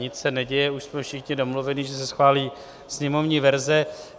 Nic se neděje, už jsme všichni domluveni, že se schválí sněmovní verze.